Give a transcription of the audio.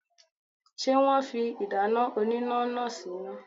Ṣé wọn fi ìdáná oníná náà síná?.